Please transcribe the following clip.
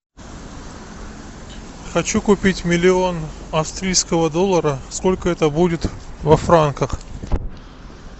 хочу купить миллион австрийского доллара сколько это будет во франках